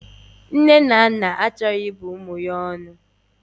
Nne na naa achoro ibu umu ya onu.